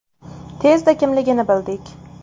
Tezda kimligini bildik.